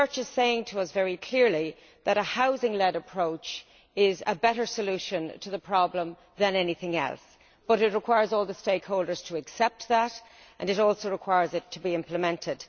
The research is saying to us very clearly that a housing led approach is a better solution to the problem than anything else. However, it requires all the stakeholders to accept that, and it also needs to be implemented.